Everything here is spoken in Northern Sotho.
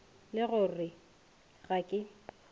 le go re ga ke